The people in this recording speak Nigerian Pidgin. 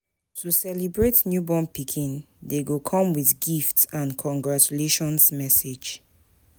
To celebrate newborn pikin de come with gifts and congratutlaion messages